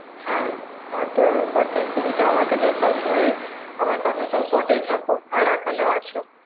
হ্যাঁ তাতো বটে তুমিতো আমার কাচে সবসময় আমার পাসে সবসময় টা থাকো আর এখনও আছো.